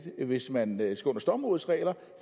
hvis man står med stormrådets regler